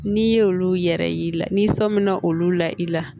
N'i ye olu yɛrɛ y'i la n'i sɔmina olu la i la